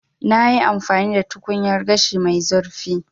Na yi amfani da tukunyar gashi mai zurfi.